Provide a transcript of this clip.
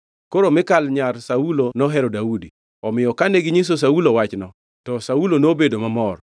Koro Mikal nyar Saulo nohero Daudi, omiyo kane ginyiso Saulo wachno, to Saulo nobedo mamor.